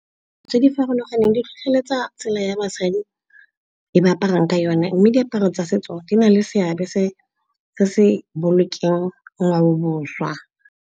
Tse di farologaneng di tlhotlheletsa tsela ya basadi e ba aparang ka yone mme diaparo tsa setso di na le seabe se bolokeng ngwao bošwa.